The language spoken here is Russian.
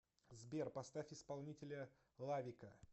сбер поставь исполнителя лавика